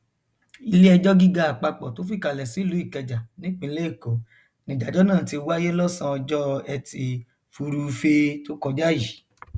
iléẹjọ gíga àpapọ tó fìkàlẹ sílùú ìkẹjà nípínlẹ èkó nìdájọ náà ti wáyé lọsànán ọjọ etí furuufee tó kọjá yìí